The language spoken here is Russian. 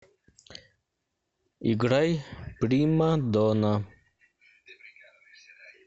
играй прима дона